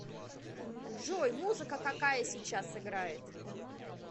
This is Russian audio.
джой музыка какая сейчас играет